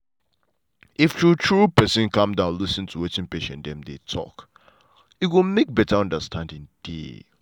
if true true person calm down lis ten to wetin patients dem dey talk e go make better understanding dey.